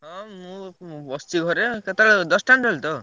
ହଁ ମୁଁ ମୁଁ ବସଚି ଘରେ କେତବେଳେ ଦଶଟାବେଳେ ତ?